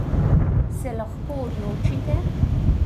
Se lahko odločite?